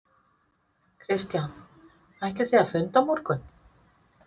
Kristján: Ætlið þið að funda á morgun?